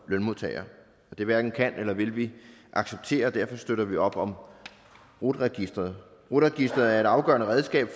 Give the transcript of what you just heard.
lønmodtagere det hverken kan eller vil vi acceptere og derfor støtter vi op om rut registeret rut registeret er et afgørende redskab